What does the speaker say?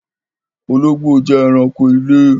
Olóngbó jẹ ẹranko ilé